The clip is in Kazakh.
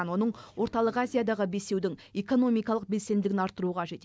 оның орталық азиядағы бесеудің экономикалық белсенділігін арттыру қажет